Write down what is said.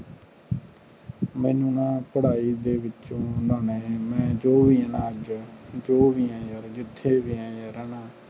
ਮੇਨੂ ਨਾ ਯਾਰ ਪੜ੍ਹਾਈ ਦੇ ਵਿਚੋਂ ਨਾ ਮੈਂ ਮੈਂ ਜੋ ਵੀ ਆ ਨਾ ਅੱਜ ਜੋ ਵੀ ਆ ਯਾਰ ਜਿਥੇ ਵੀ ਆ ਨਾ ਹਣਾ